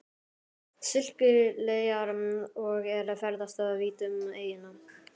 Sikileyjar og er ferðast vítt um eyjuna.